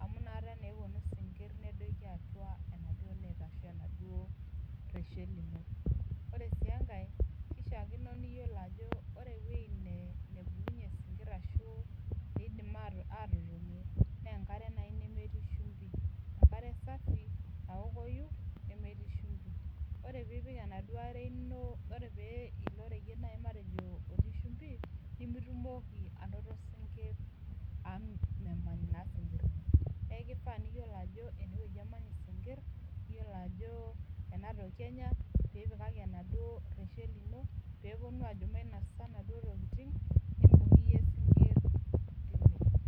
amu anakata naa eponu sinkir nedoki atua oreshet lino orw enkae na kishaakino piyolo ajo ore ewoi naishaakino sinkir na enkare nemerii shumbi enkare naokoi nemetii shumbi ore pilo oreyiet otii shumbi nimitumoki anoto sinkir neaku kifaa piyolo ano enewueji emanya si kir , enatoki enya pitumoki atipika oreyiet peponu ajo peponu anya naduo tokitin nibung iyie sinkir.